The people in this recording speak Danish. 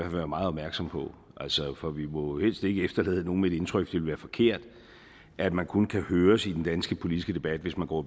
være meget opmærksom på for vi må jo helst ikke efterlade nogen med det indtryk det ville være forkert at man kun kan høres i den danske politiske debat hvis man går